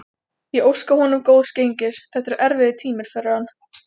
Ég óska honum góðs gengis, þetta eru erfiðir tímar fyrir hann.